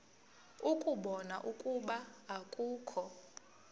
ukubona ukuba akukho